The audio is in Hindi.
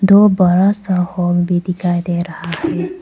व बड़ा सा हॉल भी दिखाई दे रहा है।